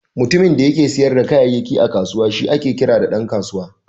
Mutumin da yake siyar da kayayyaki a kusawa shi ake kira Dan kasuwa.